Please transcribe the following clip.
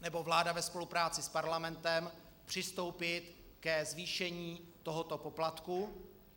nebo vláda ve spolupráci s Parlamentem přistoupit ke zvýšení tohoto poplatku.